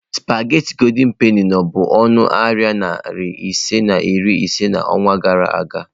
sụpaghetị goldị penị no bụ na ọnụ narị naira ise na iri ise n'ọnwa gara aga.